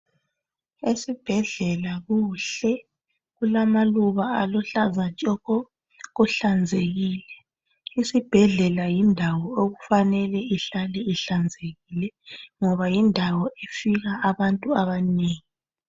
Esibhedlela kuhle kulamaluba aluhlaza tshoko kuhlanzekile isibhedlela yindawo okufanele ihlale ihlanzekile ngob ayindawo efika abantu abanengi.